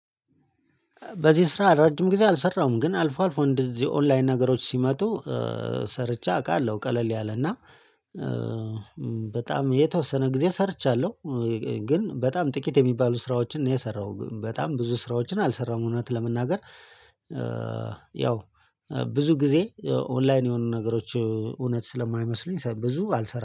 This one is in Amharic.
በዚህ ስራ ረጅም ጊዜ አልሰራሁም ግን አልፎ አልፎ እንደዚህ ኦንላይን ነገሮች ሲመጡ ሰርቼ አውቃለሁ ቀለል ያለና በጣም የተወሰነ ጊዜ ሰርቻለሁ። ግን በጣም ጥቂት የሚባሉ ስራዎችን ነው የሰራው በጣም ብዙ ስራዎችን አልሰራዉም እውነት ለመናገር። ያው ብዙ ጊዜ ኦንላይን የሆኑ ነገሮች እውነት ስለማይመስሉኝ ብዙ አልሰራም